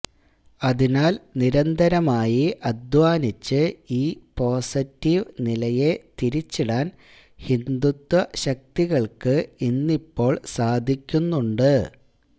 അതിനാല് നിരന്തരമായി അധ്വാനിച്ച് ഈ പോസിറ്റീവ് നിലയെ തിരിച്ചിടാന് ഹിന്ദുത്വ ശക്തികള്ക്ക് ഇന്നിപ്പോള് സാധിക്കുന്നുണ്ട്